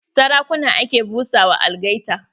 Sarakuna ake busa ma algaita.